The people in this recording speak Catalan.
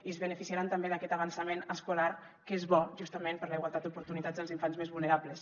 i es beneficiaran també d’aquest avançament escolar que és bo justament per a la igualtat d’oportunitats dels infants més vulnerables